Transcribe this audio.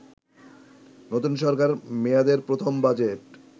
নতুন সরকার মেয়াদের প্রথম বাজেট